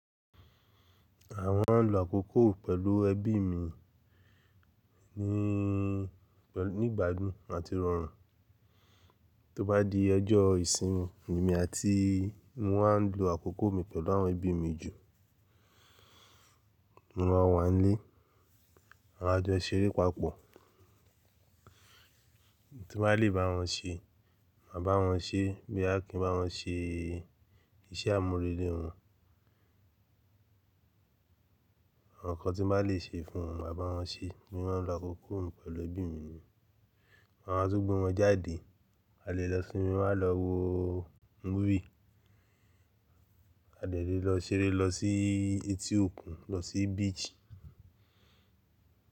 Àwọn ń lo àkókò pẹ̀lú ẹbí mi ní ìgbàdùn àti rọrùn. Tó bá di ọjọ́ ìsinmi emí àti wọ́n á lo àkókò mi pẹ̀lú àwọn ẹbí mi jù. Mo máa wà nílé, àma á jọ ṣeré papọ̀. Ohun tí mo bá lè bá wọn ṣe, màá bá wọn ṣe. Boyá kí n bá wọn ṣe iṣẹ́ àmúrelé wọn. Awon nkan tí mo bá lè ṣe fún wọn, màá bá wọn ṣe, mi maa ń lo àkókò pẹ̀lú ẹbí mi. Maa tun gbe wọ́n jáde, a lè lọ cinema, lọ wo movie A delè lọ ṣeré, lọ sí etí òkun, lọ sí beach.